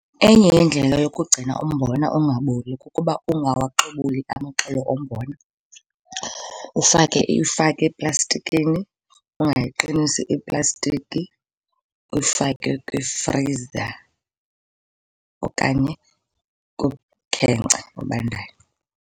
Enye yeendlela yokugcina umbona ungaboli kukuba ungawaxobuli amaxolo ombona, ufake eplastikini, ungayiqinisi iplastiki, uyifake kwifriza okanye kumkhenkce obandayo.